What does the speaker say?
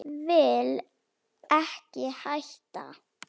Vil ekki hætta.